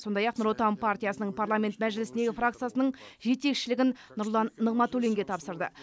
сондай ақ нұр отан партиясының парламент мәжілісіндегі фракциясының жетекшілігін нұрлан нығматуллинге тапсырды